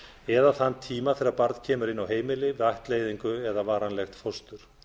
eða þann tíma þegar barn kemur inn á heimili við ættleiðingu eða varanlegt fóstur